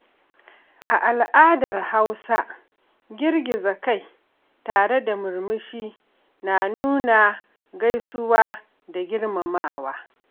A al'adar Hausa, girgiza kai tare da murmushi na nuna gaisuwa da girmamawa.